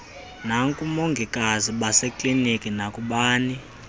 nakubongikazi basekliniki nakubani